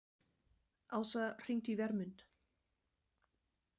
Ása, hringdu í Vermund.